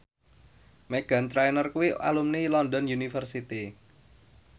Meghan Trainor kuwi alumni London University